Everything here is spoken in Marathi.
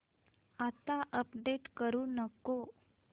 आता अपडेट करू नको